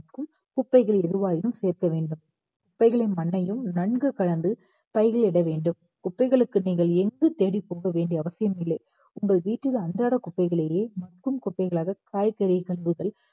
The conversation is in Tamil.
குப்பைகள் எருவாயினும் சேர்க்க வேண்டும். குப்பைகளின் மண்ணையும் நன்கு கலந்து பைகளில் இடவேண்டும். குப்பைகளுக்கு நீங்கள் எங்கு தேடி போக வேண்டிய அவசியம் இல்லை. உங்கள் வீட்டின் அன்றாட குப்பைகளையே மற்றும் குப்பைகளாக காய்கறி கழுவுதல்